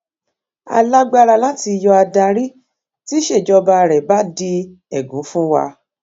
a lágbára láti yọ adarí tíṣèjọba rẹ bá di ègún fún wa